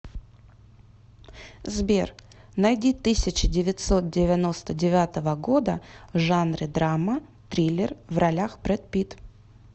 сбер найди тысяча девятьсот девяносто девятого года в жанре драма триллер в ролях бред питт